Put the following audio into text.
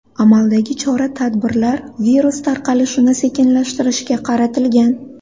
Amaldagi chora-tadbirlar virus tarqalishini sekinlashtirishga qaratilgan.